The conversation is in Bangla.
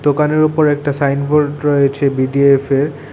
দোকানের ওপর একটা সাইনবোর্ড রয়েছে বিডিএফের।